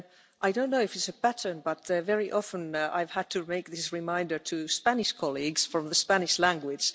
I don't know if it's a pattern, but very often I've had to give this reminder to Spanish colleagues from the Spanish language.